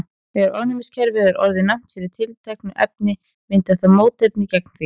þegar ónæmiskerfið er orðið næmt fyrir tilteknu efni myndar það mótefni gegn því